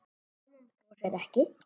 Konan brosir ekki.